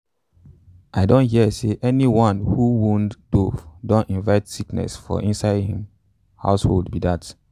i don hear say anyone who wound white dove don invite sickness for inside hin household be dat.